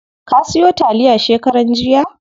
Ka siyo taliya shekaran jiya?